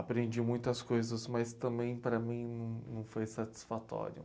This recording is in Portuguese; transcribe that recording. Aprendi muitas coisas, mas também para mim não não foi satisfatório.